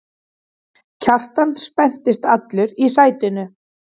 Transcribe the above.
Kjartan spenntist allur í sætinu.